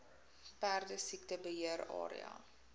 perdesiekte beheer area